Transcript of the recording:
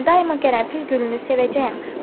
Mən daima qərənfil gülünü sevəcəyəm.